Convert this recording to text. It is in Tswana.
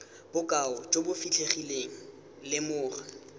bokao jo bo fitlhegileng lemoga